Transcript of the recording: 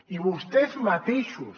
i vostès mateixos